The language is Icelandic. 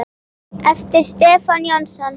eftir Stefán Jónsson